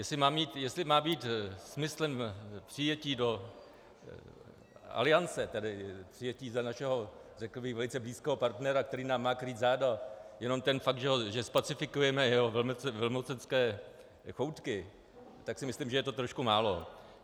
Jestli má být smyslem přijetí do Aliance, tedy přijetí za našeho řekl bych velice blízkého partnera, který nám má krýt záda, jenom ten fakt, že zpacifikujeme jeho velmocenské choutky, tak si myslím, že je to trošku málo.